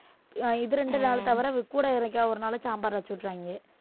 இது ரெண்டு நாள் தவிர கூட என்னைக்காவது ஒரு நாள் சாம்பார் வச்சு விட்டுருவாங்க